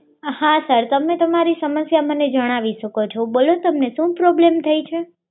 હા સર તમે તમારી સમસ્યા મને જણાવી શકો છો બોલો તમને શું પ્રોબ્લેમ થઈ છે